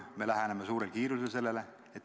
Me läheneme suurel kiirusel sellele.